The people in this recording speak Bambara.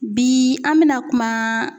Bi an mina kuma